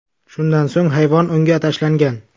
Shundan so‘ng hayvon unga tashlangan.